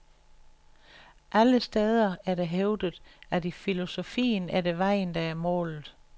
Andre steder er det hævdet, at i filosofien er det vejen, der er målet.